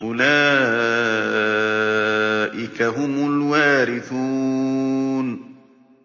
أُولَٰئِكَ هُمُ الْوَارِثُونَ